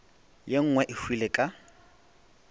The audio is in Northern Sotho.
ye nngwe e hwile ka